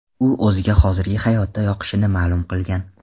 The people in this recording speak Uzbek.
U o‘ziga hozirgi hayoti yoqishini ma’lum qilgan.